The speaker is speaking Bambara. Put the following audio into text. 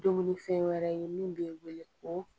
Dumuni fɛn wɛrɛ ye min bɛ wele ko